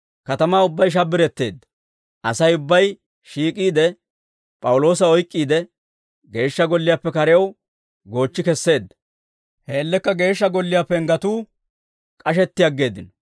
Katamaa ubbay shabbiretteedda; Asay ubbay shiik'iide P'awuloosa oyk'k'iide, Geeshsha Golliyaappe karew goochchi kesseedda; he man''iyaan Geeshsha Golliyaa penggetuu k'ashetti aggeeddino.